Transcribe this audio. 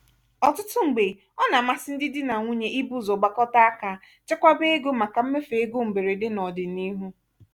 ọtụtụ mgbe ọ na-amasị ndị dí na nwunye ibu ụzọ gbakọta àkà chekwaba ego màkà mmefu ego mberede n'ọdị n'ihu.